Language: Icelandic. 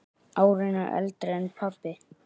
Árinu eldri en pabbi.